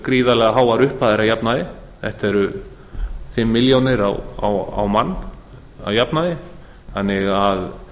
gríðarlega háar upphæðir að jafnaði þetta eru fimm milljónir á mann að jafnaði þannig að